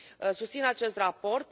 Susțin acest raport.